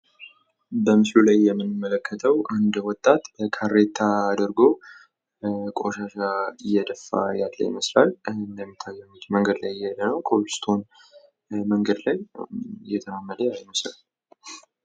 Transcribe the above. በምሥሉ ላይ የምንመለከተዉ አንድ ወጣት ካሬታ አድርጎ ቆሻሻ እየደፋ ያለ ይመስላል። እንደሚታየው መንገድ ላይ እየሄደ ነው። ኮብል ስቶን መንገድ ላይ እየተራመደ ያለ ይመስላል።